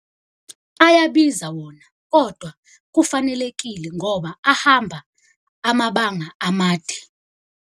Ayabiza wona, kodwa kufanelekile ngoba ahamba amabanga amade.